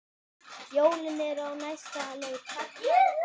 Jólin eru á næsta leiti.